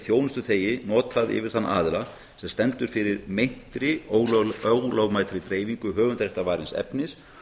þjónustuþegi notað yfir þann aðila sem stendur fyrir meintri ólögmætri dreifingu höfundaréttarvarins efnis